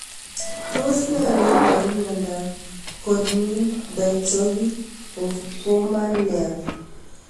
Tos iparu nee miondop Corneal dystrophy of Bowman layer